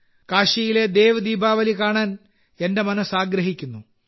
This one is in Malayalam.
കാശിയിലെ ദേവ് ദീപാവലി കാണാൻ എന്റെ മനസ്സ് ആഗ്രഹിക്കുന്നു